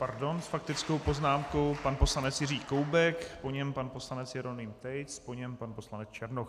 Pardon, s faktickou poznámkou pan poslanec Jiří Koubek, po něm pan poslanec Jeroným Tejc, po něm pan poslanec Černoch.